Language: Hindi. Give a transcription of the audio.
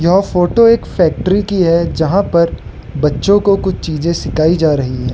यह फोटो एक फैक्ट्री की है जहां पर बच्चों को कुछ चीजें सिखाई जा रही है।